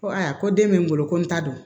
Ko ayiwa ko den bɛ n bolo ko n ta don